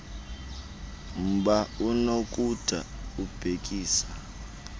mba unokuba ubhekisa